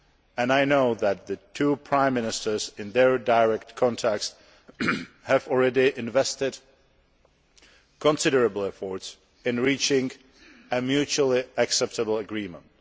And I know that the two Prime Ministers in their direct contacts have already invested considerable efforts in reaching a mutually acceptable agreement.